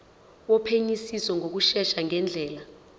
wophenyisiso ngokushesha ngendlela